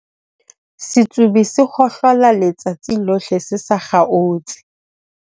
Setsobi se hohlola letsatsi lohle se sa kgaotse.